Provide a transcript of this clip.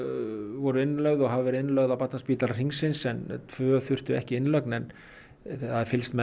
voru innlögð og hafa verið innlögð á Barnaspítala Hringsins en tvö þurftu ekki innlögn en það er fylgst með